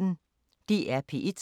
DR P1